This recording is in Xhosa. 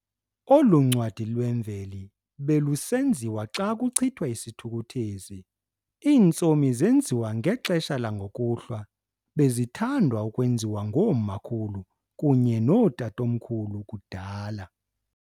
Olu ncwadi lwemveli belusenziwa xa kuchithwa isithukuthezi. Iintsomi zenziwa ngexesha langokuhlwa, bezithandwa ukwenziwa ngoomakhulu kunye nootatomkhulu kudala.